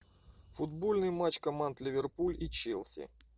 футбольный матч команд ливерпуль и челси